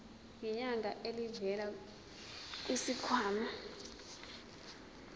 ngenyanga elivela kwisikhwama